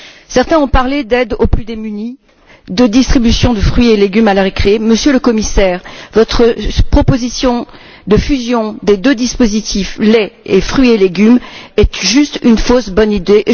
Certains ont parlé d'aides aux plus démunis, de distribution de fruits et légumes à la récré... Monsieur le Commissaire, votre proposition de fusion des deux dispositifs lait et fruits et légumes est juste une fausse bonne idée.